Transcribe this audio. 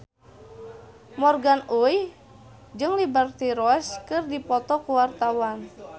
Morgan Oey jeung Liberty Ross keur dipoto ku wartawan